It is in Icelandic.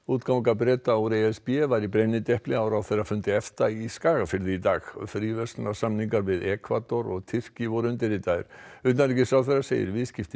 útganga Breta úr e s b var í brennidepli á ráðherrafundi EFTA í Skagafirði í dag fríverslunarsamningar við Ekvador og Tyrki voru undirritaðir utanríkisráðherra segir viðskipti